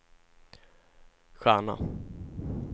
stjärna